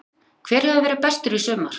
Álitið: Hver hefur verið bestur í sumar?